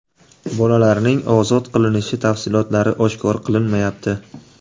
Bolalarning ozod qilinishi tafsilotlari oshkor qilinmayapti.